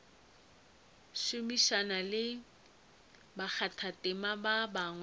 šomišana le bakgathatema ba bangwe